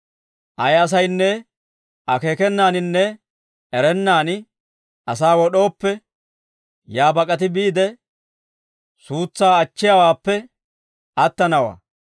Ayi asaynne akeekenaaninne erennaani asaa wod'ooppe, yaa bak'ati biide, suutsaa achchiyaawaappe attanawaa.